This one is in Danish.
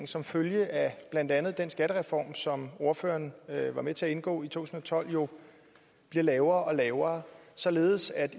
som følge af blandt andet den skattereform som ordføreren var med til at indgå i to tusind og tolv bliver lavere og lavere således at